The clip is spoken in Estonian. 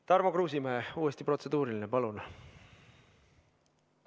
Tarmo Kruusimäe, uuesti protseduuriline, palun!